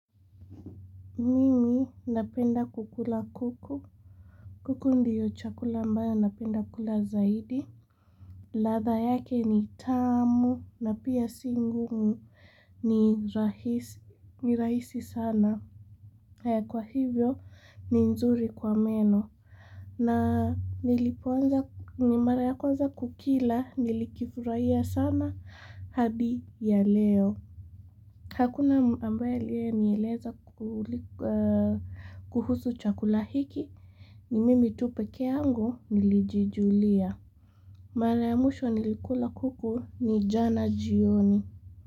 Mimi napenda kukula kuku kuku ndio chakula ambayo napenda kula zaidi latha yake ni tamu na pia si ngumu ni rahisi sana Kwa hivyo ni nzuri kwa meno na nilipoanza ni mara ya kwanza kukila nilikifurahia sana hadi ya leo Hakuna ambaye aliye nieleza kuhusu chakula hiki ni mimi tu peke yangu nilijijulia Mara ya mwisho nilikula kuku ni jana jioni.